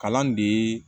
Kalan de ye